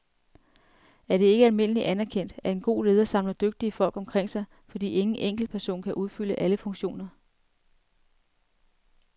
Er det ikke almindeligt anerkendt, at en god leder samler dygtige folk omkring sig, fordi ingen enkeltperson kan udfylde alle funktioner.